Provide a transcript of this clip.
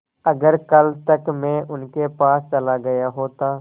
अगर कल तक में उनके पास चला गया होता